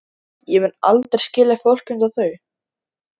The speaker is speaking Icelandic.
Ég mun aldrei skilja fólk einsog þau.